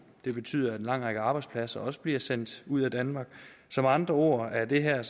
det betyder at en lang række arbejdspladser også bliver sendt ud af danmark så med andre ord er det her